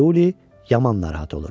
Tiuli yaman narahat olur.